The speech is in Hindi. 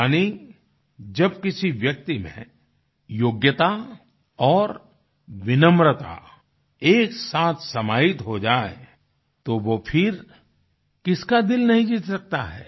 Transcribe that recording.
यानी जब किसी व्यक्ति में योग्यता और विनम्रता एक साथ समाहित हो जाए तो वो फिर किसका दिल नहीं जीत सकता है